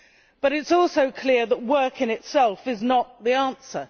But it is also clear that work in itself is not the answer.